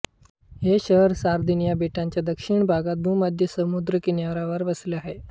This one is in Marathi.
हे शहर सार्दिनिया बेटाच्या दक्षिण भागात भूमध्य समुद्र किनाऱ्यावर वसले आहे